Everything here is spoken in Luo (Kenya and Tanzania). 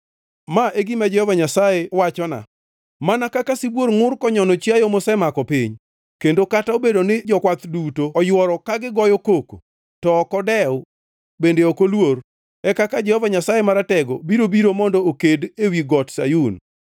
Ma e gima Jehova Nyasaye wachona: Mana kaka sibuor ngʼur konyono chiayo mosemako piny, kendo kata obedo ni jokwath duto oyworo ka goyo koko, to ok odew bende ok oluor, e kaka Jehova Nyasaye Maratego, biro biro mondo oked ewi got Sayun.